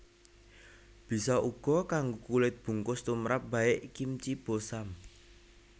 Bisa uga kanggo kulit bungkus tumrap baek kimchi bossam